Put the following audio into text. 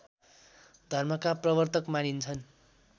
धर्मका प्रवर्तक मानिन्छन्